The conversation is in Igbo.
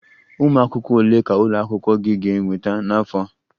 Ụmụ akwụkwọ ole ka ụlọ akwụkwọ gị ga-ekweta n'afọ a?